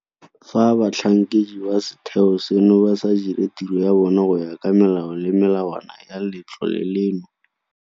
Fa batlhankedi ba setheo seno ba sa dire tiro ya bona go ya ka melao le melawana ya Letlole leno.